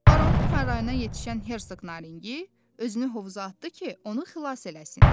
Baronun harayına yetişən Hersoq Naringi özünü hovuza atdı ki, onu xilas eləsin.